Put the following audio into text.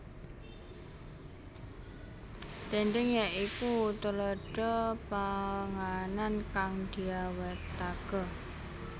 Dhèndhèng ya iku tuladha panganan kang diawetake